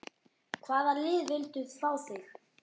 Hvaða lið vildu fá þig?